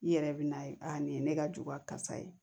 I yɛrɛ bɛ n'a ye a nin ye ne ka jugu kasa ye